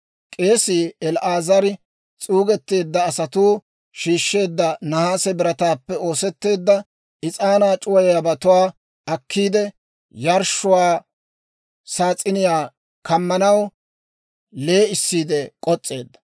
K'eesii El"aazari s'uugetteedda asatuu shiishsheedda nahaase birataappe oosetteedda is'aanaa c'uwayiyaabatuwaa akkiide, yarshshuwaa saas'iniyaa kammanaw lee'issiide k'os's'eedda.